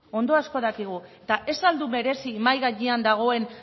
ondo asko dakigu hori ez al du merezi mahai gainean dagoen